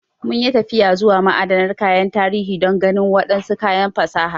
Mun yi tafiya zuwa ma'adanar kayan tarihi don ganin wadansu kayan fasaha.